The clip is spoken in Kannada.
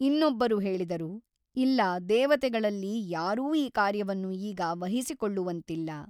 ಇನ್ನೊಬ್ಬರು ಹೇಳಿದರು ಇಲ್ಲ ದೇವತೆಗಳಲ್ಲಿ ಯಾರೂ ಈ ಕಾರ್ಯವನ್ನು ಈಗ ವಹಿಸಿಕೊಳ್ಳುವಂತಿಲ್ಲ.